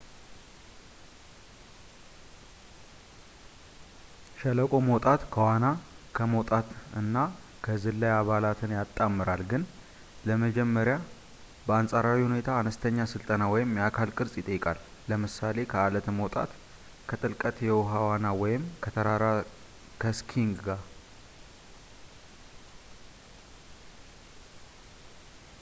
ሸለቆ መውጣት ከዋና፣ ከመውጣት እና ከዝላይ አባላትን ያጣምራል ግን ለመጀመር በአንፃራዊ ሁኔታ አነስተኛ ስልጠና ወይም የአካል ቅርፅ ይጠይቃል ለምሳሌ ከአለት መውጣት፣ ከጥልቀት የውሃ ዋና ወይም ከተራራ ከስኪንግ ጋር